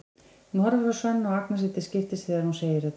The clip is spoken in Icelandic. Hún horfir á Svenna og Agnesi til skiptis þegar hún segir þetta.